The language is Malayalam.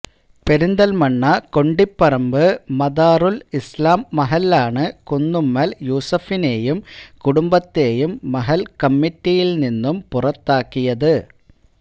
പെരിന്തല്മണ്ണ കൊണ്ടിപ്പറമ്പ് മദാറുല് ഇസ്ലാം മഹല്ലാണ് കുന്നുമ്മല് യൂസഫിനെയും കുടുംബത്തെയും മഹല്ല് കമ്മിറ്റിയില് നിന്നും പുറത്താക്കിയത്